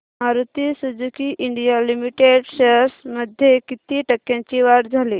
Maruti Suzuki India limited shares मध्ये किती टक्क्यांची वाढ झाली